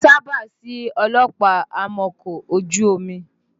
Kì í sábà sí ọlọ́pàá amọ́kọ̀ ojú omi